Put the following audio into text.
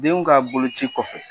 Denw ka boloci kɔfɛ